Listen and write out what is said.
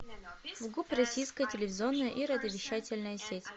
фгуп российская телевизионная и радиовещательная сеть